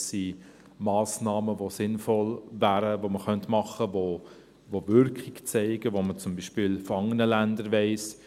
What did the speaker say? Es sind Massnahmen, die sinnvoll wären, die man machen könnte, die Wirkung zeigen – was man zum Beispiel von anderen Ländern weiss.